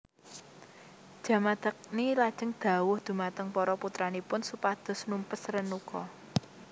Jamadagni lajeng dhawuh dhumateng para putranipun supados numpes Renuka